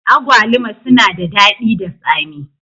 Agwaluma sunada daɗi da tsami.